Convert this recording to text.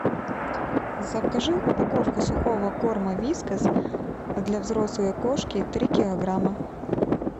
закажи упаковку сухого корма вискас для взрослой кошки три килограмма